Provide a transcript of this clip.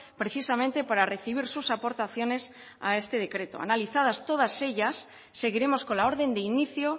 precisamente para recibir sus aportaciones a esta decreto analizadas todas ellas seguiremos con la orden de inicio